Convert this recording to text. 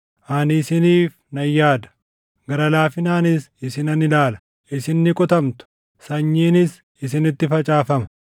Ani isiniif nan yaada; gara laafinaanis isinan ilaala; isin ni qotamtu; sanyiinis isinitti facaafama;